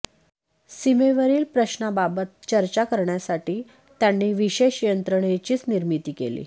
सीमेवरील प्रश्नांबाबत चर्चा करण्यासाठी त्यांनी विशेष यंत्रणेचीच निर्मिती केली